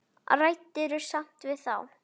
Ræddirðu samt við þá?